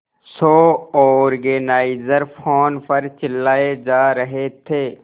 show organiser phone पर चिल्लाए जा रहे थे